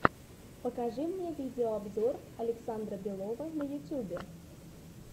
покажи мне видеообзор александра белова на ютьюбе